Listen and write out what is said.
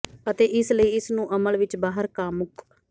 ਅਤੇ ਇਸ ਲਈ ਇਸ ਨੂੰ ਅਮਲ ਵਿੱਚ ਬਾਹਰ ਕਾਮੁਕ